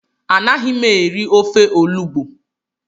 Anaghị m eri ofe olugbo